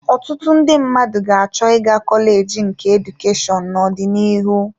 Ọtụtụ ndị mmadụ ga-achọ ịga kọleji nke Edukashonu n'ọdịnihu.